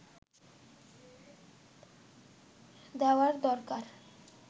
দেওয়ার দরকার